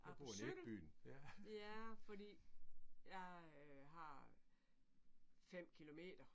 Jeg på cykel. Ja fordi jeg har fem kilometer